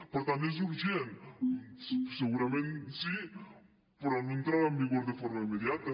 per tant és urgent segurament sí però no entrarà en vigor de forma immediata